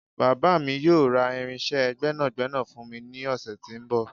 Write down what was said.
Bàbá mi yóò ra irinsé gbẹ́nàgbẹ́nà fún mi ní ọ̀sẹ̀ tí ó ń bọ̀